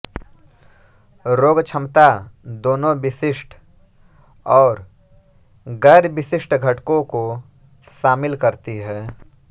रोगक्षमता दोनों विशिष्ट और गैर विशिष्ट घटकों को शामिल करती है